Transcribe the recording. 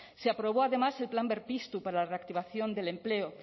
se aprobó además el plan berpiztu para la reactivación del empleo